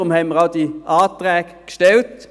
Deshalb haben wir auch diese Anträge gestellt.